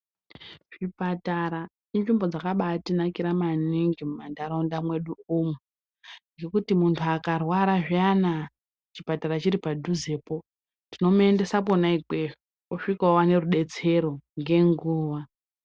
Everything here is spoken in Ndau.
Zvipatara inzvimbo dzakabatinakira maningi muntaraunda mwedu imwomwo ngekuti muntu akarwara zviyana chipatara chiri padhuze, tinomuendesa kona ikweyo, osvika owana rudetsero ngenguva.